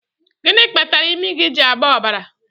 Gịnị kpatara imi gị ji agba ọbara?